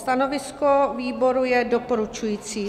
Stanovisko výboru je doporučující.